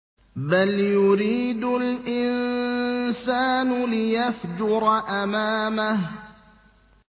بَلْ يُرِيدُ الْإِنسَانُ لِيَفْجُرَ أَمَامَهُ